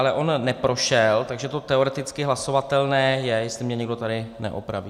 Ale on neprošel, takže to teoreticky hlasovatelné je, jestli mě někdo tady neopraví.